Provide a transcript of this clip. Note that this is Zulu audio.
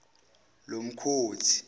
lomkhothi